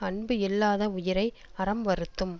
அன்பு இல்லாத உயிரை அறம் வருத்தும்